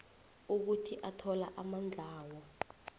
ukuthi athola amandlawo